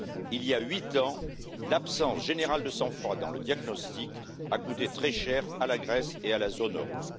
Il y a huit ans, l'absence générale de sang froid dans le diagnostic a coûté très cher à la Grèce et à la zone euro.